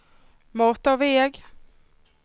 motorväg